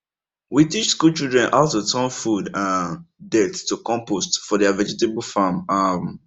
we teach school children how to turn food um dirt to compost for their vegetable farm um